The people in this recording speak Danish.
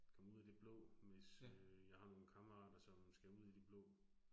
Komme ud i det blå, hvis øh jeg har nogle kammerater, som skal ud i det blå